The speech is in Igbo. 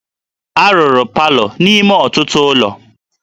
A rụrụ palọ n'ime ọtụtụ ụlọ